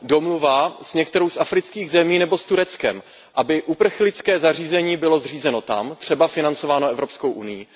Domluva s některou z afrických zemí nebo s Tureckem, aby uprchlické zařízení bylo zřízeno tam, třeba financováno Evropskou unií.